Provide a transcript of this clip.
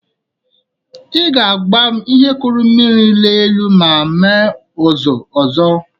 Ị ga-agwa m ihe kụrụ mmiri laa elu ma ime ụzụ ọzọ